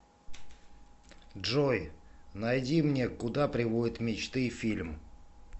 джой найди мне куда приводят мечты фильм